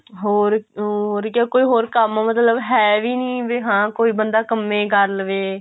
ਹੋਰ ਉਹ ਕੋਈ ਕੰਮ ਮਤਲਬ ਹੈ ਵੀ ਨੀ ਵੀ ਹਾਂ ਵੀ ਕੋਈ ਬੰਦਾ ਕੰਮੇ ਹੇ ਕਰ ਲਵੇ